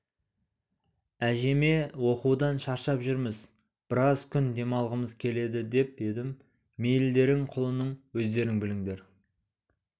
әжеме оқудан шаршап жүрміз біраз күн демалғымыз келеді деп едім мейілдерің құлыным өздерің біліңдер